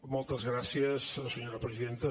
moltes gràcies senyora presidenta